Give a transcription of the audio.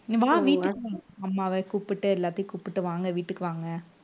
வா வீட்டுக்கு அம்மாவை கூப்பிட்டு எல்லாத்தையும் கூப்பிட்டு வாங்க வீட்டுக்கு வாங்க